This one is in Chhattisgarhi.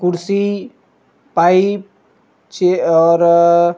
कुर्सी पाइप चे और अ --